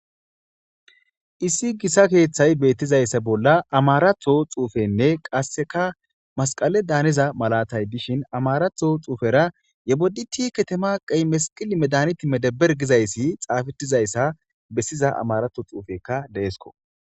issi gissa keeththay beettizayssa bolla amaratho xuufenne qasseka masqale daaniza malatay dishin amaratho xuufera yeboditi ketemaaqey mesiqili medaniti medeber gizayssi xaafetizayssa bessiza amaratho xuufekka deesko